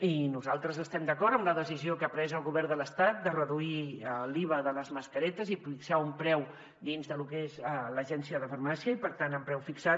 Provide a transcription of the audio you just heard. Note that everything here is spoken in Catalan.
i nosaltres estem d’acord amb la decisió que ha pres el govern de l’estat de reduir l’iva de les mascaretes i fixar un preu dins de lo que és l’agència de farmàcia i per tant amb preu fixat